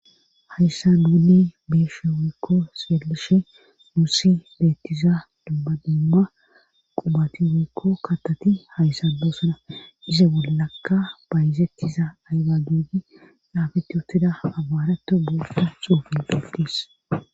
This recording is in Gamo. Hayssa duuni beeshe woykko seelishe muusi beettiza dubbadiimma qubati woykko kattati hayssa boosona ize bollakka bayzettiza aygagidi daafetti wutida abaarato boossa xuufin beldis